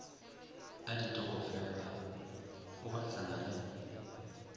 a ditokofela o gahlana le